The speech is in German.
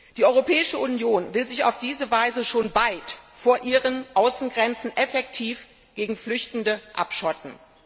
Die Europäische Union will sich auf diese Weise schon weit vor ihren Außengrenzen effektiv gegen Flüchtende abschotten.